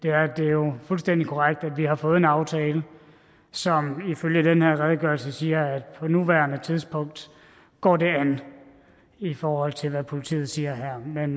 er at det jo er fuldstændig korrekt at vi har fået en aftale som ifølge den her redegørelse siger at på nuværende tidspunkt går det an i forhold til hvad politiet siger her men